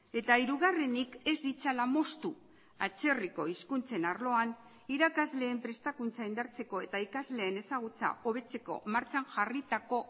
eta hirugarrenik ez ditzala moztu atzerriko hizkuntzen arloan irakasleen prestakuntza indartzeko eta ikasleen ezagutza hobetzeko martxan jarritako